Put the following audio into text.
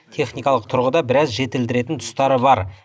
техникалық тұрғыда біраз жетілдіретін тұстары бар